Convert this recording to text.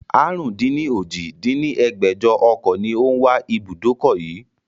àrún-dín-ní-ojì dín ní ẹgbẹ́jọ ọkọ̀ ni ó wà ní ibùdókọ̀ yii